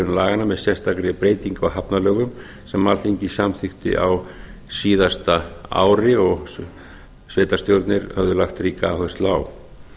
laganna með sérstakri breytingu á hafnalögum sem alþingi samþykkti á síðasta ári og sveitarstjórnir höfðu lagt áherslu á